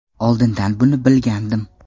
Oldindan buni bilgandim.